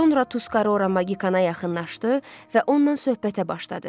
Sonra Tuskarora Magikana yaxınlaşdı və ondan söhbətə başladı.